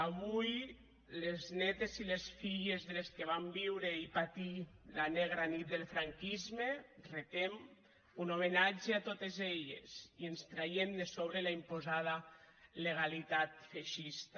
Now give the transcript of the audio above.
avui a les nétes i les filles de les que van viure i patir la negra nit del franquisme els retem un homenatge a totes elles i ens traiem de sobre la imposada legalitat feixista